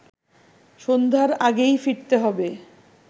সন্ধ্যার আগেই ফিরতে হবে